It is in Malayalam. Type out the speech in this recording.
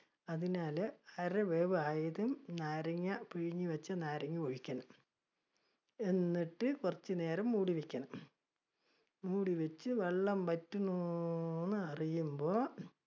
അതിനാല് അര വേവ് ആയതും നാരങ്ങ, പിഴിഞ്ഞ് വെച്ച നാരങ്ങ ഒഴിക്കണം. എന്നിട്ട് കുറച്ചുനേരം മൂടി വെക്കണം. മൂടിവെച്ച് വെള്ളം വറ്റുന്നൊന്നു എന്നറിയുമ്പോ